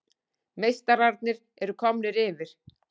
Meistararnir eru komnir yfir